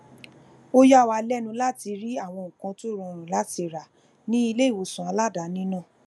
ó yà wá lénu láti rí àwọn nǹkan tó rọrùn láti rà ní iléìwòsàn aladaani náà